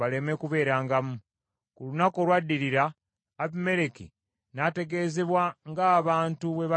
Ku lunaku olwaddirira, Abimereki n’ategeezebwa ng’abantu bwe bagenda okulima.